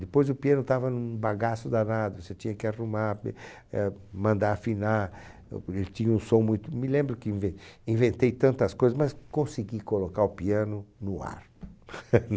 Depois o piano estava num bagaço danado, você tinha que arrumar be, eh, mandar afinar, ele tinha um som muito... Me lembro que inve inventei tantas coisas, mas consegui colocar o piano no ar.